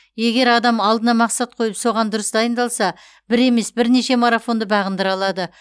егер адам алдына мақсат қойып соған дұрыс дайындалса бір емес бірнеше марафонды бағындыра алады